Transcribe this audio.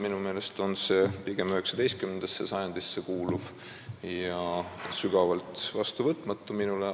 Minu jaoks on need pigem 19. sajandisse kuuluvad seisukohad, mis on minule sügavalt vastuvõtmatud.